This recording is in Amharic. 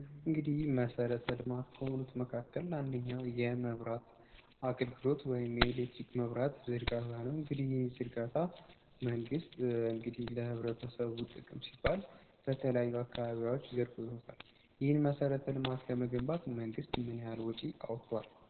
እንግዲህ መሰረተ ልማት ከሆኑት መካከል አንድኛው የመብራት አክልግሎት ወይም የኤሌትሪክ መብራት ዝርጋታ ነው። እንግዲ ዝርጋታ መንግስት እንግዲህ ለህብረተሰቡ ጥቅም ሲባል በተለያዩ አካባቢያዎች ዝርግቶታል ።ይህን መሰረተ ልማት ለመገንባት መንግሥት ምንያል ወጪ አውጥቷል?